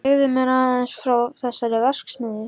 Segðu mér aðeins frá þessari verksmiðju.